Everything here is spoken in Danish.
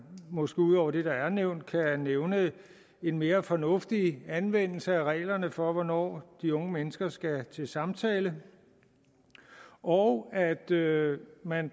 måske ud over det der er nævnt kan nævne en mere fornuftig anvendelse af reglerne for hvornår de unge mennesker skal til samtale og at det